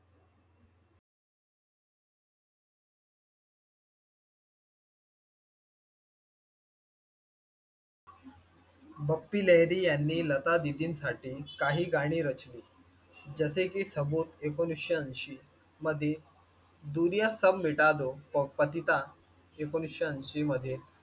बप्पी लेहरी यांनी लतादीदींसाठी काही गाणी रचली जसे की सबुत ऐकोनिसशे मधील दुरिया सब मिटा दो ऐकोनिसशे अंशी मध्ये